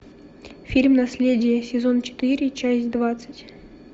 фильм наследие сезон четыре часть двадцать